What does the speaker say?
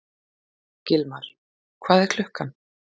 Gilmar, hvað er klukkan?